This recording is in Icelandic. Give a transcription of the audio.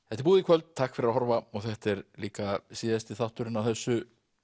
þetta er búið í kvöld takk fyrir að horfa og þetta er líka síðasti þátturinn á þessu